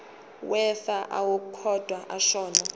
wefa owaqokwa ashona